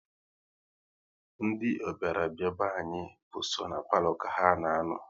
Ndị ọbịa bịara be anyị bụ so ná palo ka ha na-anọ